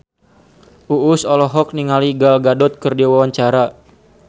Uus olohok ningali Gal Gadot keur diwawancara